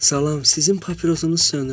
Salam, sizin papirosunuz sönüb.